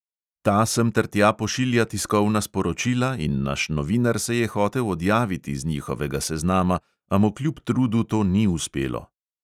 Ta sem ter tja pošilja tiskovna sporočila in naš novinar se je hotel odjaviti z njihovega seznama, a mu kljub trudu to ni uspelo.